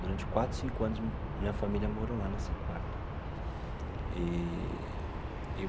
Durante quatro, cinco anos, minha família morou lá nesse quarto eee.